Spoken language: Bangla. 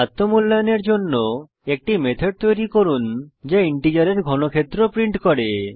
আত্ম মূল্যায়নের জন্য একটি মেথড তৈরী করুন যা ইন্টিজারের ঘনক্ষেত্র প্রিন্ট করে